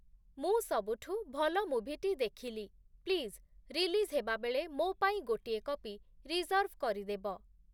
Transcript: ମୁଁ ସବୁଠୁ ଭଲ ମୁଭିଟି ଦେଖିଲି; ପ୍ଳିଜ୍‌ ରିଲିଜ୍ ହେବାବେଳେ ମୋ ପାଇଁ ଗୋଟିଏ କପି ରିଜର୍ଭ୍‌ କରିଦେବ